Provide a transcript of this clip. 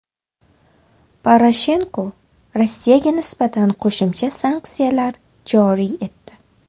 Poroshenko Rossiyaga nisbatan qo‘shimcha sanksiyalar joriy etdi.